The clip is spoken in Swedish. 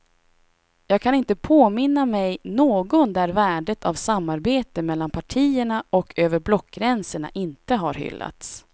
Jag kan inte påminna mig någon där värdet av samarbete mellan partierna och över blockgränsen inte har hyllats.